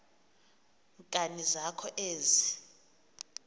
nkani zakho ezi